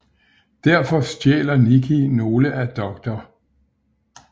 Defor stjæler Nikki nogle af Dr